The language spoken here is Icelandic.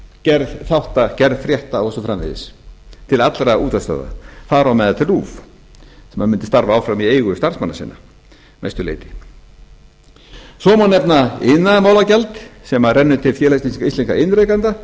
gerð þátta gerð frétta og svo framvegis til allra útvarpsstöðva þar á meðal til rúv sem mundi starfa áfram í eigu starfsmanna sinna að mestu leyti svo má nefna iðnaðarmálagjald sem rennur til félags íslenskra iðnrekenda